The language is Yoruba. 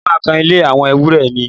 Mo máa kan ilé àwọn ewúrẹ́ mi